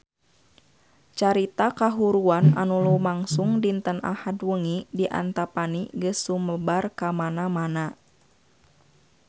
Carita kahuruan anu lumangsung dinten Ahad wengi di Antapani geus sumebar kamana-mana